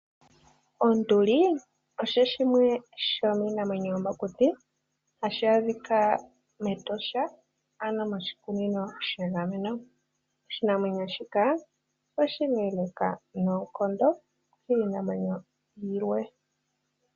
Onduli osho shimwe shomiinamwenyo yomokuti, hashi adhika mEtosha, ano moshikunino shiinamwenyo. Oshinamwenyo shika oshileeleka noonkondo kiinamwenyo yilwe.